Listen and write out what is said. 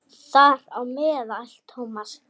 Þar á meðal Thomas.